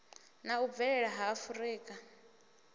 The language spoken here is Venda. na u bvelela ha afurika